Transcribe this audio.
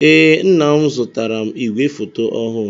Ee, nna m zụtaara m ìgwè foto ọhụụ.